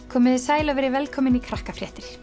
komiði sæl og verið velkomin í